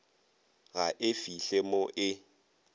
ga e fihle mo e